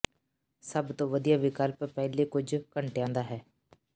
ਸਭ ਤੋਂ ਵਧੀਆ ਵਿਕਲਪ ਪਹਿਲੇ ਕੁਝ ਘੰਟਿਆਂ ਦਾ ਹੈ